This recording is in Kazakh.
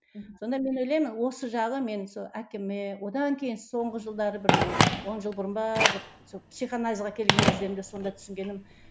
сонда мен ойлаймын осы жағы мен сол әкеме одан кейін соңғы жылдары бір он жыл бұрын ба бір сол психоанализге келген кездерімде сонда түсінгенім